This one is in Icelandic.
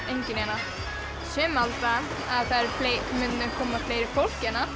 enginn hérna sumir halda að það muni koma fleira fólk hérna